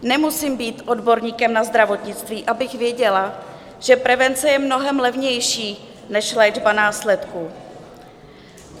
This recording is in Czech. Nemusím být odborníkem na zdravotnictví, abych věděla, že prevence je mnohem levnější než léčba následků.